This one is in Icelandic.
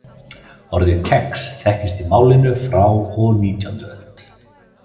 Orðið kex þekkist í málinu frá og nítjánda öld.